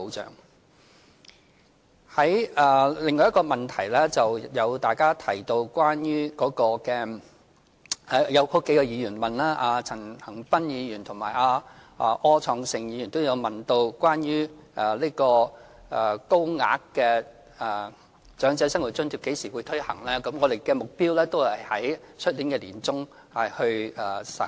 就着另外一個問題，即數位議員，包括陳恒鑌議員和柯創盛議員問及有關高額長者生活津貼何時會推行的問題，我們的目標是在明年年中實行。